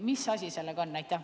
Mis asi sellega on?